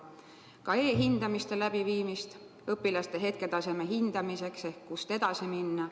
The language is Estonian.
Käsitletakse ka e-hindamiste läbiviimist õpilaste hetketaseme hindamiseks ehk seda, kust edasi minna.